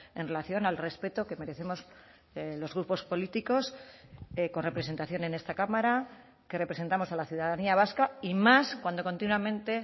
en relación al respeto que merecemos los grupos políticos con representación en esta cámara que representamos a la ciudadanía vasca y más cuando continuamente